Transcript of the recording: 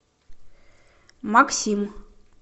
максим